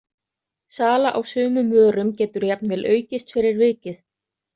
Sala á sumum vörum getur jafnvel aukist fyrir vikið.